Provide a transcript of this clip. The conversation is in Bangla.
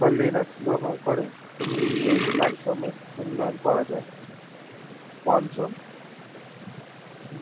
বা linux ব্যবহার করে এই platform এর উন্নয়ন করা যাই পঞ্চম